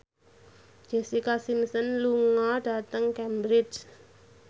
Jessica Simpson lunga dhateng Cambridge